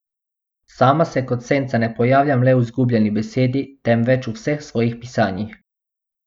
Sama se kot senca ne pojavljam le v Izgubljeni besedi, temveč v vseh svojih pisanjih.